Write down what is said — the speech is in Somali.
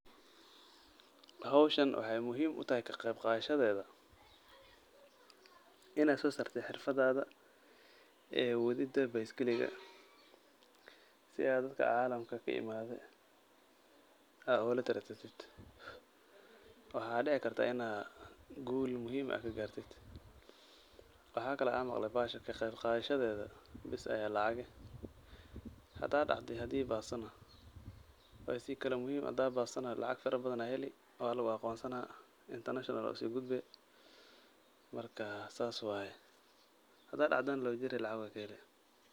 Howshan waxaay muhiim utahay kaqeyqaadashadeeda; in aad soosaartid xirfadaada wedida baiskeliga si aad dadka caalamka ka imaaday ulatartantid. Waxaa dhici kartaa in aad guul muhiim ah ka gaartid. Waxaa kale aan maqlay bahashaan kaqeybqaadashadeeda bes ayaa lacag eh. Hadaa dacdo iyo hadii baastana waa sii kala muhiim. Hadaa bastana lacag farabadan ayaa heli waa lugu aqoonsana international ayaa usiigudbi. Marka, saas waay. Hadaa lacadana labagooraba lacag waa ka heli.